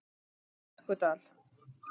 Flekkudal